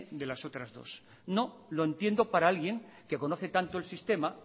de las otras dos no lo entiendo para alguien que conoce tanto el sistema